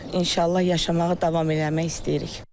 İnşallah yaşamağa davam eləmək istəyirik.